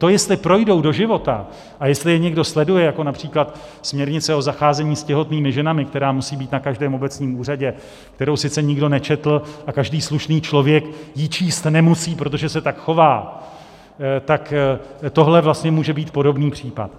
To, jestli projdou do života a jestli je někdo sleduje, jako například směrnice o zacházení s těhotnými ženami, která musí být na každém obecním úřadě, kterou sice nikdo nečetl a každý slušný člověk ji číst nemusí, protože se tak chová, tak tohle vlastně může být podobný případ.